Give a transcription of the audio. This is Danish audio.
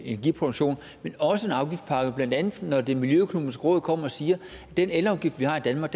energiproduktion og en afgiftspakke blandt andet når det miljøøkonomiske råd kommer og siger at den elafgift vi har i danmark